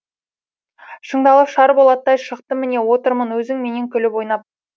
шыңдалып шар болаттай шықтым міне отырмын өзіңменен күліп ойнап